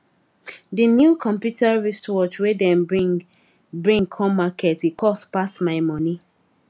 de new computer wristwatch wey dem bring bring come market e cost pass my monie